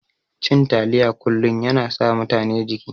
Cin taliya kullun yana sa mutane jiki.